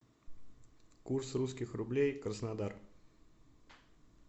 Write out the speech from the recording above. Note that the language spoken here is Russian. курс русских рублей краснодар